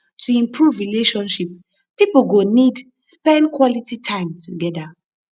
to improve relationship pipo go need to spend quality time together